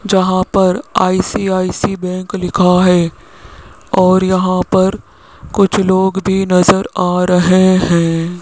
जहां पर बैंक लिखा है और यहां पर कुछ लोग भी नज़र आ रहे हैं।